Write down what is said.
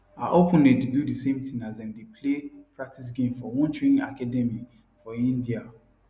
her opponent dey do di same tin as dem dey play practice game for one training academy for india